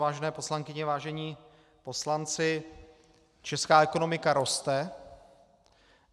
Vážené poslankyně, vážení poslanci, česká ekonomika roste.